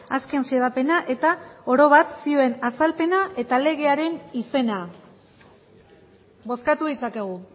azken xedapena eta oro bat zioen azalpena eta legearen izena bozkatu ditzakegu